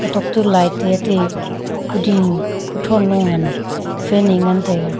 kutok toh light e ate kuding kuthow no a ngan fan a ngan tega.